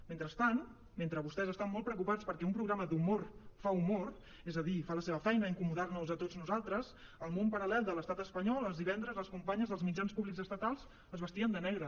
mentrestant mentre vostès estan molt preocupats perquè un programa d’humor fa humor és a dir fa la seva feina incomodar nos a tots nosaltres al món paral·lel de l’estat espanyol els divendres les companyes dels mitjans públics estatals es vestien de negre